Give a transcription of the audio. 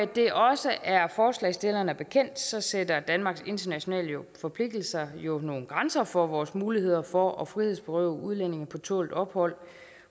det også er forslagsstillerne bekendt sætter danmarks internationale forpligtelser jo nogle grænser for vores muligheder for at frihedsberøve udlændinge på tålt ophold